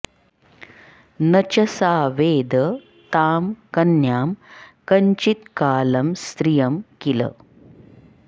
न च सा वेद तां कन्यां कंचित्कालं स्त्रियं किल